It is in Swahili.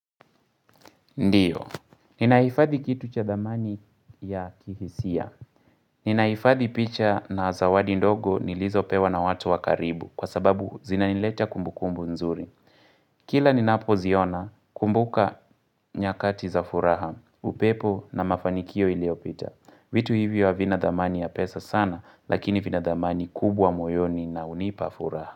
Ndio. Ninaifadhi kitu cha dhamani ya kihisia. Ninaifadhi picha na zawadi ndogo nilizopewa na watu wakaribu kwa sababu zinaniletea kumbukumbu nzuri. Kila ninapo ziona ninakumbuka nyakati za furaha. Upepo na mafanikio iliopita. Vitu hivyo vina dhamani ya pesa sana lakini vina dhamani kubwa moyoni unaonipa furaha.